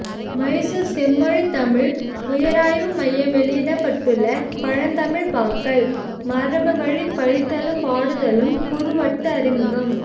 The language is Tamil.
மைசூர் செம்மொழித் தமிழ் உயராய்வு மையம் வெளியிட்டுள்ள பழந்தமிழ்ப் பாக்கள் மரபுவழிப் படித்தலும் பாடுதலும் குறுவட்டு அறிமுகம்